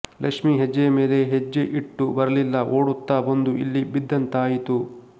ಲಕ್ಷ್ಮೀ ಹೆಜ್ಜೆಯ ಮೇಲೆ ಹೆಜ್ಜೆ ಇಟ್ಟು ಬರಲಿಲ್ಲ ಓಡುತ್ತಾ ಬಂದು ಇಲ್ಲಿ ಬಿದ್ದಂತಾಯಿತು